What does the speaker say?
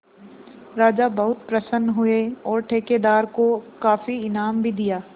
राजा बहुत प्रसन्न हुए और ठेकेदार को काफी इनाम भी दिया